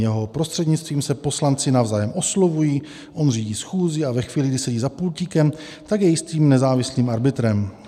Jeho prostřednictvím se poslanci navzájem oslovují, on řídí schůzi a ve chvíli, kdy sedí za pultíkem, tak je jistým nezávislým arbitrem.